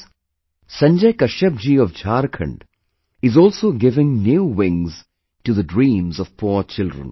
Friends, Sanjay Kashyap ji of Jharkhand is also giving new wings to the dreams of poor children